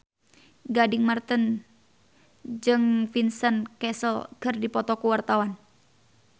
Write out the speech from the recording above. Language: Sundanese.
Gading Marten jeung Vincent Cassel keur dipoto ku wartawan